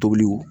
Tobiliw